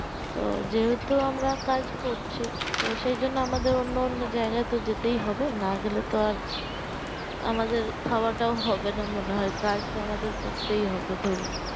তো যেহেতু আমরা কাজ করছি তো সেই জন্য আমাদের অন্য অন্য জায়গায় তে যেতেই হবে না গেলে তো আর আমাদের খাওয়া তা হবে না মনে হয় কাজ তো করতেই হবে ধরুন